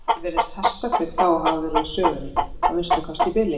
Aftur á móti virðast hestakaup þá hafa verið úr sögunni, að minnsta kosti í bili.